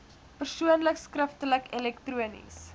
persoonlik skriftelik elektronies